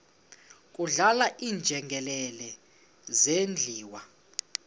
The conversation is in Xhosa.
kudlala iinjengele zidliwa